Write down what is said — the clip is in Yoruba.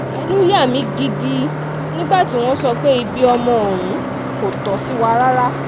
ẹnu yà mí gidi nígbà tí wọ́n sọ pé ibi ọmọ ọ̀hún kò tó ṣì wà rárá